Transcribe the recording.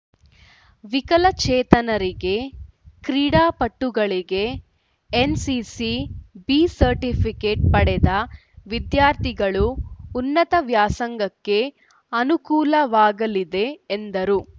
ವಿಕಲಚೇತನರಿಗೆ ಕ್ರೀಡಾಪಟುಗಳಿಗೆ NCC B certificate ಪಡೆದ ವಿದ್ಯಾರ್ಥಿಗಳು ಉನ್ನತ ವ್ಯಾಸಂಗಕ್ಕೆ ಅನೂಕುಲವಾಗಲಿದೆ ಎಂದರು